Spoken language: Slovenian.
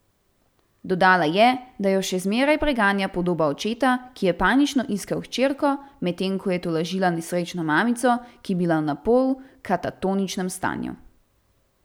Dodala je, da jo še zmeraj preganja podoba očeta, ki je panično iskal hčerko, medtem ko je tolažila nesrečno mamico, ki je bila v napol katatoničnem stanju.